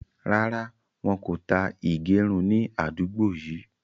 Rárá, wọn kò tá ìgérun ni àdúgbò yìí